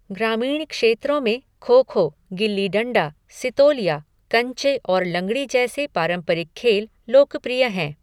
ग्रामीण क्षेत्रों में खो खो, गिल्ली डंडा, सितोलिया, कंचे और लंगड़ी जैसे पारंपरिक खेल लोकप्रिय हैं।